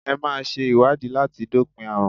Ẹ máa ṣe ìwádìí láti dópin àrùn.